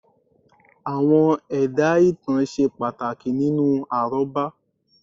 Àwọn ẹ̀dá ìtàn ṣe pàtàkì nínú àrọ́bá